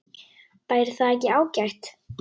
Væri það ekki ágætt?